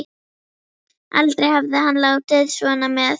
Aldrei hafði hann látið svona með